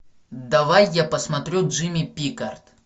давай я посмотрю джимми пика